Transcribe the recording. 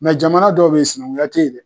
jamana dɔw be yen, sinankunya te yen dɛ!